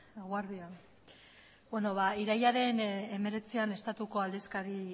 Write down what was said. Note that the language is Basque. eguerdi on irailaren hemeretzian estatuko aldizkari